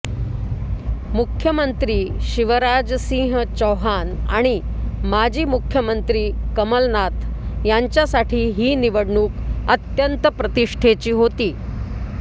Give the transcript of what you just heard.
मुख्यमंत्री शिवराजसिंह चौहान आणि माजी मुख्यमंत्री कमलनाथ यांच्यासाठी ही निवडणूक अत्यंत प्रतिष्ठेची होती